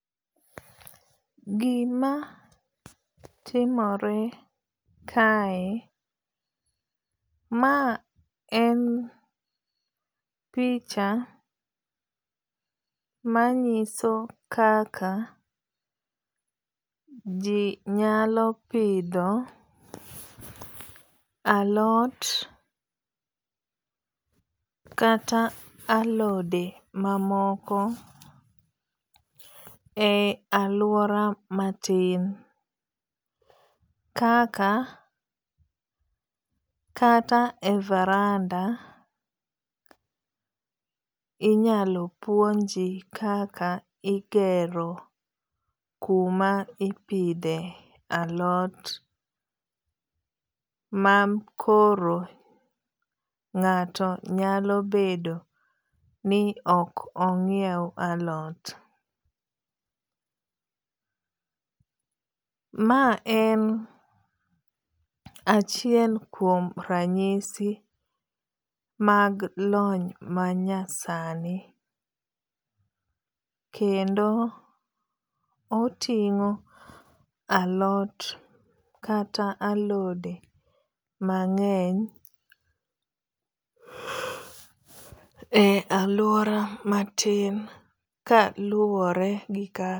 Gima timore kae, ma en picha manyiso kaka ji nyalo pidho alot kata alode mamoko e aluora matin kaka kata e varanda inyalo puonji kaka igero kuma ipidhe alot ma koro ng'ato nyalo bedo ni ok onyiew alot. Ma en achiel kuom ranyisi mag lony manya sani. Kendo oting'o alot kata alode mang'eny e aluora matin kaluwore gi ka.